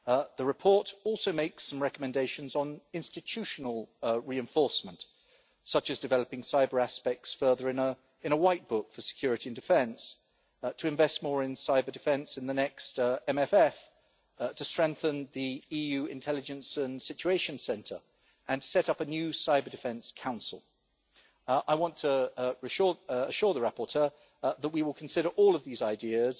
The report also makes some recommendations on institutional reinforcement, such as developing cyber aspects further in a white book for security and defence, to invest more in cyber-defence in the next MFF, to strengthen the EU Intelligence and Situation Centre and set up a new cyber-defence council. I want to assure the rapporteur that we will consider all of these ideas